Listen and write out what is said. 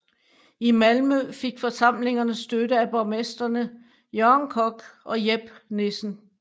I Malmø fik forsamlingerne støtte af borgmestrene Jørgen Kock og Jep Nielsen